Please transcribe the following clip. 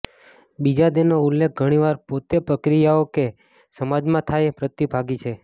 બીજા તેનો ઉલ્લેખ ઘણી વાર પોતે પ્રક્રિયાઓ કે સમાજમાં થાય પ્રતિભાગી છે